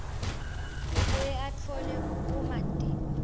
abuye atfole bumatima